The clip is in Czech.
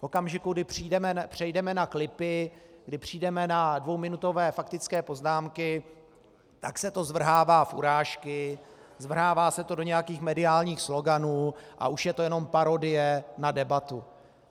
V okamžiku, kdy přejdeme na klipy, kdy přejdeme na dvouminutové faktické poznámky, tak se to zvrhává v urážky, zvrhává se to do nějakých mediálních sloganů a už je to jenom parodie na debatu.